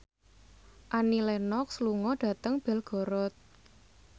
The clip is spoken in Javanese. Annie Lenox lunga dhateng Belgorod